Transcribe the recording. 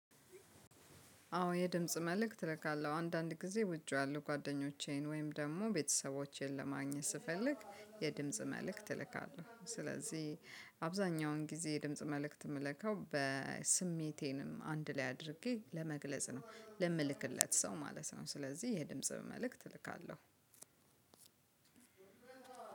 አዎ የድምጽ መልእክት እልካለሁ አንዳንድ ጊዜ ወጪ ያሉ ጓደኞቼን ወይም ደግሞ ቤተሰቦቼን ለማግኘት ስፈልግ የድምጽ መልእክት እልካለሁ ስለዚህ አብዛኛውን ጊዜ የድምጽ መልእክት የምልከው በስሜቴንም አንድ ላይ አድርጌ ለመግለጽ ነው ለምልክለት ሰው ማለት ነው። ስለዚህ የድምጽ መልእክት እልካለሁ።